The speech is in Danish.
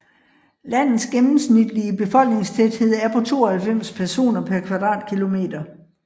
Landets gennemsnitlige befolkningstæthed er på 92 personer per km²